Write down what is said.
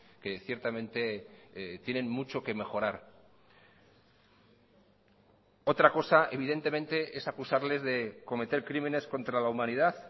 que ciertamente tienen mucho que mejorar otra cosa evidentemente es acusarles de cometer crímenes contra la humanidad